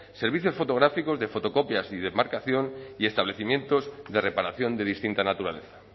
servicios fotográficos de fotocopias y de marcación y establecimientos de reparación de distinta naturaleza